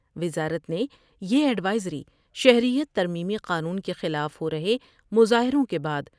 وزارت نے یہ ایڈوائزری شہریت ترمیمی قانون کے خلاف ہور ہے مظاہروں کے بعد